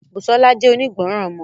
Busola jẹ́ onígbọràn ọmọ.